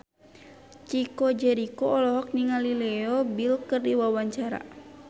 Chico Jericho olohok ningali Leo Bill keur diwawancara